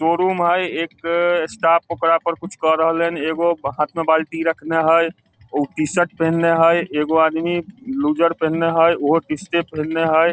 दो रूम हेय एक स्टाफ ओकरा में पर कुछ क रहले हेन एगो हाथ में बाल्टी रखने हेय उ टी-शर्ट पेहनले हेय एगो आदमी लूज़र पेहनले हेय उहो टी-शर्ट पेहनले हेय ।